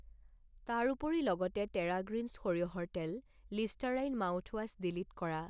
তাৰোপৰি লগতে terra greens সৰিয়হৰ তেল, লিষ্টাৰাইন মাউথৱাছ ডিলিট কৰা।